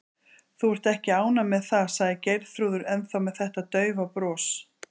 Þú ert ekki ánægð með það, sagði Geirþrúður, ennþá með þetta daufa bros.